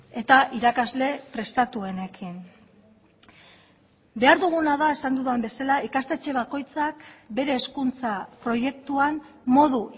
eta irakasle prestatuenekin behar duguna da esan dudan bezala ikastetxe bakoitzak bere hezkuntza proiektuan modu